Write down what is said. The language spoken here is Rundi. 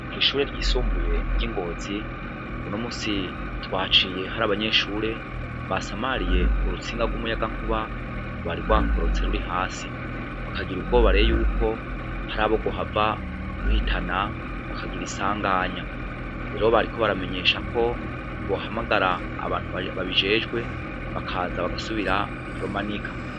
Kwishure ryisumbuye ry'i Ngozi, unomusi twahaciye hari abanyeshure basamariye urutsinga rw'umuyagankuba rwari rwakorotse ruri hasi bakagira ubwoba reo yuko, hari abo rwohava ruhitana bakagira isanganya, rero bariko baramenyesha ko bohamagara abantu babijejwe bakaza bagasubira kurumanika.